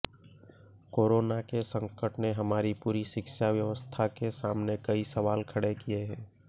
corona के संकट ने हमारी पूरी शिक्षा व्यवस्था के सामने कई सवाल खड़े किए हैं